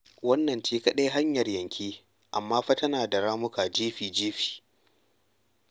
Wannan ce kaɗai hanyar-yanke amma fa tana da ramuka jefi-jefi.